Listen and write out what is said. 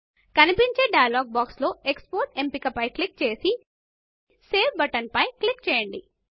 కనిపించే dialog box లో export ఎంపికపై క్లిక్ చేసి సేవ్ బటన్ మీద క్లిక్ చేయండి